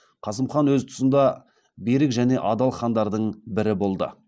қасым хан өз тұсында берік және адал хандардың бірі болды